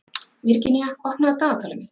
Virginía, opnaðu dagatalið mitt.